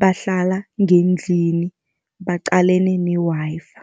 bahlala ngendlini baqalene ne-Wi-Fi.